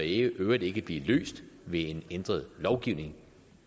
i øvrigt ikke blive løst ved en ændret lovgivning